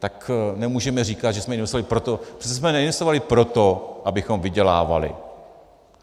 Tak nemůžeme říkat, že jsme investovali proto - přece jsme neinvestovali proto, abychom vydělávali.